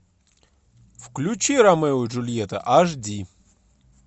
включи ромео и джульетта аш ди